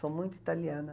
Sou muito italiana.